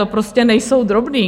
To prostě nejsou drobné.